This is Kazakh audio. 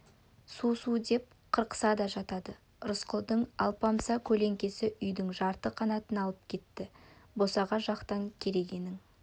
су-су деп қырқысады да жатады рысқұлдың алпамса көлеңкесі үйдің жарты қанатын алып кетті босаға жақтан керегенің